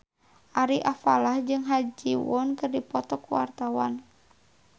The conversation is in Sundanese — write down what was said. Ari Alfalah jeung Ha Ji Won keur dipoto ku wartawan